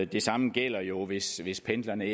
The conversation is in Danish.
det samme gælder jo hvis hvis pendlerne